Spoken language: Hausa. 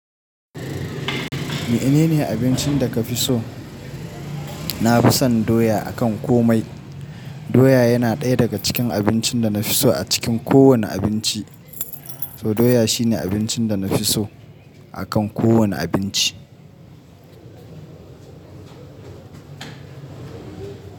Menene abincin da ka fi so? Na fi son doya a kan komai. Doya yana ɗaya daga cikin abincin da na fi so a cikin kowane abinci. To doya shine abincin da na fi so a kan kowane abinci.